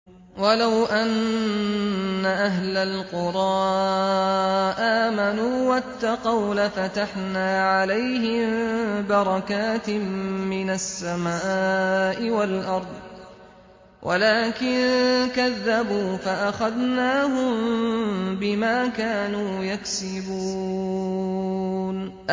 وَلَوْ أَنَّ أَهْلَ الْقُرَىٰ آمَنُوا وَاتَّقَوْا لَفَتَحْنَا عَلَيْهِم بَرَكَاتٍ مِّنَ السَّمَاءِ وَالْأَرْضِ وَلَٰكِن كَذَّبُوا فَأَخَذْنَاهُم بِمَا كَانُوا يَكْسِبُونَ